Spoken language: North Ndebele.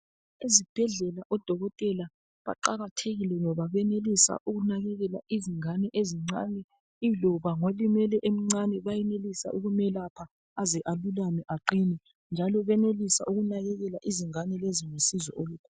Ezibhedlela odokotela baqakathekile ngoba benelisa ukunakekela izingane ezincane iloba ngolimele emncane bayenelisa ukumelapha aze alulame aqine. Njalo benelisa ukunakekela izingane lezi ngisizo olukhulu